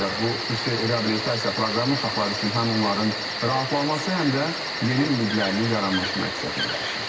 Bu xüsusi reabilitasiya proqramı uşaqlar üçün həm onların rahatlaması, həm də yeni ümidlərinin yaranması məqsədini daşıyır.